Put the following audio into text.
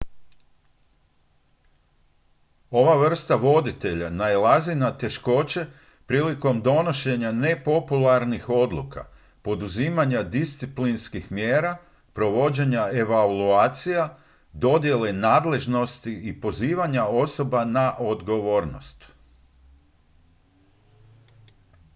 ova vrsta voditelja nailazi na teškoće prilikom donošenja nepopularnih odluka poduzimanja disciplinskih mjera provođenja evaluacija dodjele nadležnosti i pozivanja osoba na odgovornost